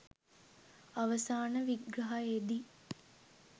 අවසාන විග්‍රහයෙදි